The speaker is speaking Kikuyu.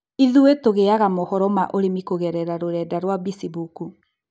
Ithuĩ tũgĩaga mohoro ma ũrĩmi kũgerera rũrenda rwa 'Bĩcimbuku'